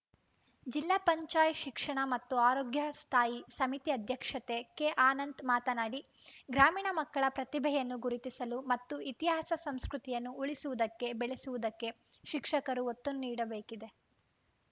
ಜಿಲ್ಲಾ ಪಂಚಾಯತ್ ಶಿಕ್ಷಣ ಮತ್ತು ಆರೋಗ್ಯ ಸ್ಥಾಯಿ ಸಮಿತಿ ಅಧ್ಯಕ್ಷ ಕೆಅನಂತ್‌ ಮಾತನಾಡಿ ಗ್ರಾಮೀಣ ಮಕ್ಕಳ ಪ್ರತಿಭೆಯನ್ನು ಗುರುತಿಸಿಲು ಮತ್ತು ಇತಿಹಾಸ ಸಂಸ್ಕೃತಿಯನ್ನು ಉಳಿಸುವುದಕ್ಕೆ ಬೆಳೆಸುವುದಕ್ಕೆ ಶಿಕ್ಷಕರು ಒತ್ತು ನೀಡಬೇಕಿದೆ